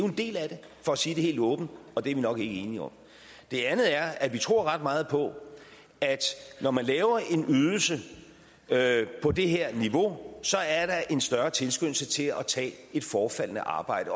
en del af det for at sige det helt åbent og det er vi nok ikke enige om det andet er at vi tror ret meget på at når man laver en ydelse på det her niveau så er der en større tilskyndelse til at tage et forefaldende arbejde